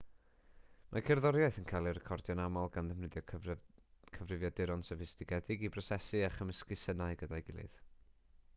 mae cerddoriaeth yn cael ei recordio'n aml gan ddefnyddio cyfrifiaduron soffistigedig i brosesu a chymysgu synau gyda'i gilydd